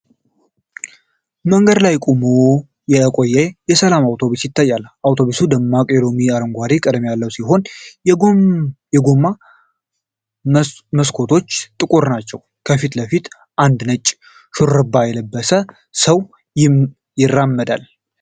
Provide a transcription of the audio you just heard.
መንገድ ላይ ቆሞ የቆየ የሰላም አውቶቡስ ይታያል። አውቶቡሱ ደማቅ የሎሚ አረንጓዴ ቀለም ያለው ሲሆን፣ የጎን መስኮቶቹ ጥቁር ናቸው። ከፊት ለፊት አንድ ነጭ ሹራብ የለበሰ ሰው ይራመዳል።